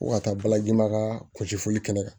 Ko ka taa balaji ma ka kusi foli kɛ ne kan